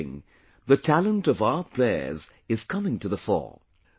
In shooting, the talent of our players is coming to the fore